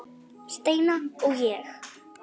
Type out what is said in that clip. Steina og ég.